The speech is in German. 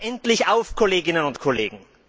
Wacht endlich auf, Kolleginnen und Kollegen!